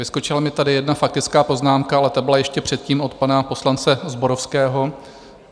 Vyskočila mi tady jedna faktická poznámka, ale ta byla ještě předtím, od pana poslance Zborovského.